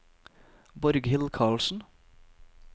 Borghild Karlsen